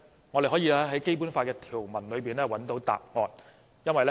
我們可以從《基本法》的條文中找到答案。